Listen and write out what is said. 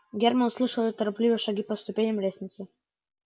германн услышал её торопливые шаги по ступеням лестницы